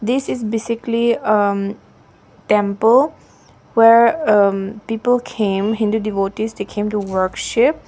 this is basically a temple where people came in the devotees they came to workship .